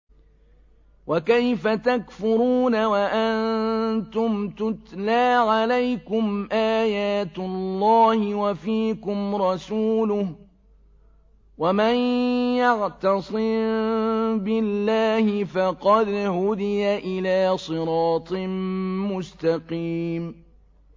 وَكَيْفَ تَكْفُرُونَ وَأَنتُمْ تُتْلَىٰ عَلَيْكُمْ آيَاتُ اللَّهِ وَفِيكُمْ رَسُولُهُ ۗ وَمَن يَعْتَصِم بِاللَّهِ فَقَدْ هُدِيَ إِلَىٰ صِرَاطٍ مُّسْتَقِيمٍ